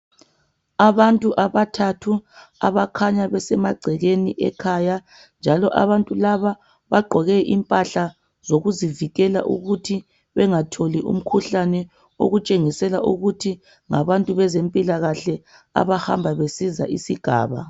Abantu abathathu abakhanya besemagcekeni ekhaya, njalo abantu laba bagqoke impahla zokuzivikela ukuthi bengatholi umkhuhlane, okutshengisela ukuthi ngabantu bezempilakahle abahamba besiza isigaba.